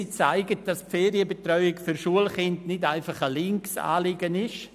– Sie zeigt, dass die Ferienbetreuung für Schulkinder nicht nur ein linkes Anliegen ist.